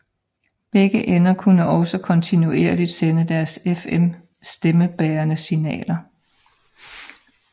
Begge ender kunne også kontinuerligt sende deres FM stemmebærende signaler